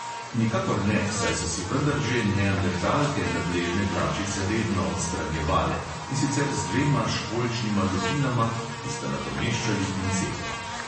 Nikakor ne, saj so si vendar že neandertalke nadležne dlačice redno odstranjevale, in sicer z dvema školjčnima lupinama, ki sta nadomeščali pinceto.